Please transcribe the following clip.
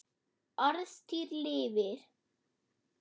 Orðstír lifir.